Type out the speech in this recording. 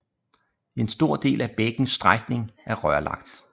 En stor del af bækkens strækning er rørlagt